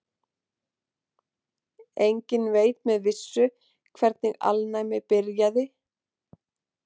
Enginn veit með vissu hvernig alnæmi byrjaði.